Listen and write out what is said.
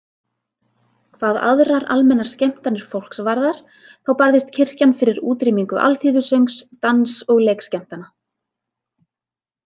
Hvað aðrar almennar skemmtanir fólks varðar þá barðist kirkjan fyrir útrýmingu alþýðusöngs, dans- og leikskemmtana.